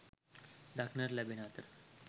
දක්නට ලැබෙන අතර